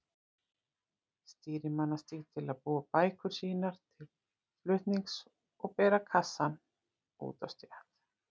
Stýrimannastíg til að búa bækur sínar til flutnings og bera kassana út á stétt.